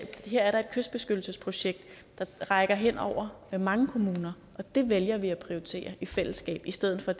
her er der et kystbeskyttelsesprojekt der rækker hen over mange kommuner og det vælger vi at prioritere i fællesskab i stedet for